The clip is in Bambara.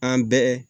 An bɛɛ